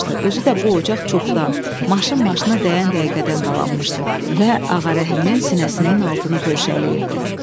Özü də bu ocaq çoxdan, maşın maşına dəyən dəqiqədən qalanmışdı və Ağarəhmin sinəsinin altını pörşələyirdi.